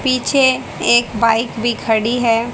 पीछे एक बाइक भी खड़ी है।